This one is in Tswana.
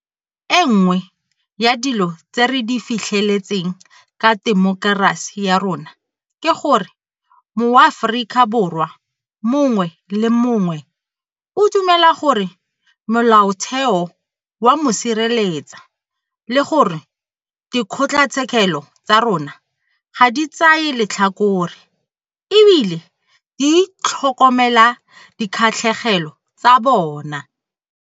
E nngwe ya dilo tse re di fitlheletseng ka temokerasi ya rona ke gore moAforika Borwa mongwe le mongwe o dumela gore Molaotheo o a mo sireletsa le gore dikgotlatshekelo tsa rona ga di tsaye letlhakore e bile di tlhokomela dikgatlhegelo tsa bona.